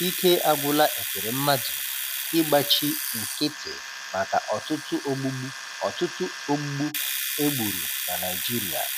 Ike agwụla Ekweremmadu ịgbachi nkịtị maka ọtụtụ ogbugbu ọtụtụ ogbugbu e gburu na Naịjirịa.